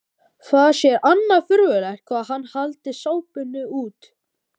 Það sé annars furðulegt hvað hann haldi sápuna út.